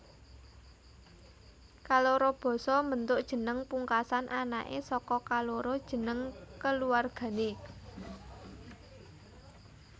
Kaloro basa mbentuk jeneng pungkasan anaké saka kaloro jeneng kulawargané